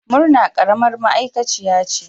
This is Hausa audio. Murna karamar ma'aikaciya ce